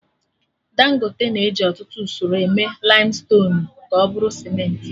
Dangote na eji ọtụtụ usoro eme laimstonuu ka ọ bụrụ Sementị